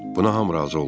Buna hamı razı oldu.